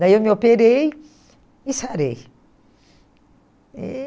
Daí eu me operei e sarei. E